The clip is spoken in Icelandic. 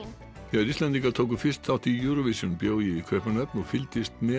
þegar Íslendingar tóku fyrst þátt í bjó ég í Kaupmannahöfn og fylgdist með